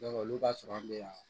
olu ka sɔrɔ an bɛ yan